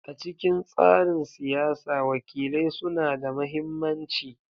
A cikin tsarin siyasa, wakilai suna da mahimmanci.